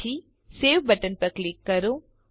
પછી save button પર click કરો